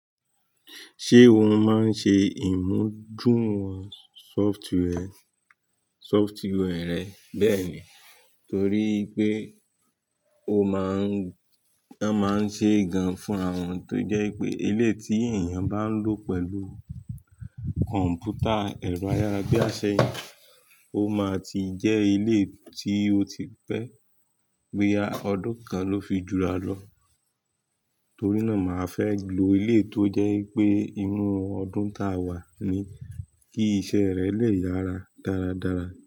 Ṣé òun máa ń ṣe ìmúdùúrun software, software rẹ bẹ́ẹ̀ ni? Torí pé ó máa ń, wọ́n máa ń ṣe gan fún àwọn tó jẹ́ pé ilé tí èèyàn bá ń lò pẹ̀lú kọ̀m̀pútà ẹ̀rọ ayára bí àsè yíì, ó máa ti jẹ́ ilé tí o ti pẹ́ gbé a ọdún kan ló fi jura lọ. Torí náà, màá fẹ́ lo ilé tó jẹ́ pé inú ọdún táa wà ni kí iṣẹ́ rẹ le yára dáradára.